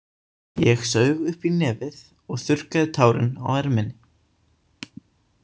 Ég saug upp í nefið og þurrkaði tárin á erminni.